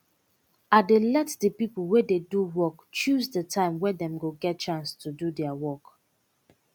i dey let de pipo wey dey do work chose de time wey dem go get chance to do deir work